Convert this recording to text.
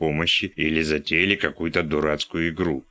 помощи или затеяли какую-то дурацкую игру